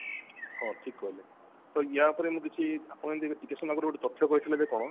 ହଁ ଠିକ କହିଲେ ତ ୟା ଉପରେ କିଛି ଆପଣ ଯେମତି ଟିକେ ସମୟ ଆଗୁରୁ ଗୋଟେ ତଥ୍ୟ କହିଥିଲେ କଣ